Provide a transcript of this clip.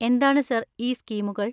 എന്താണ് സർ, ഈ സ്കീമുകൾ?